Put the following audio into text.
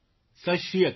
સત શ્રી અકાલ